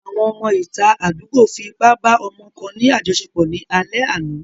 Àwọn ọmọ ìta àdúgbò fi ipá ba ọmọ kan ní àjoṣepọ̀ ní alẹ́ àná.